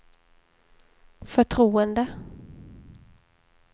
förtroende